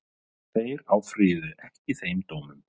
Þeir áfrýjuðu ekki þeim dómum